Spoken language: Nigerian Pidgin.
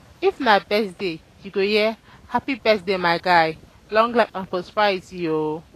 if na birthday yu go hear "hapi birthday my guy long life and prosperity o"